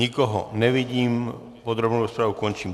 Nikoho nevidím, podrobnou rozpravu končím.